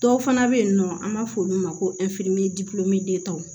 Dɔw fana bɛ yen nɔ an b'a fɔ olu ma ko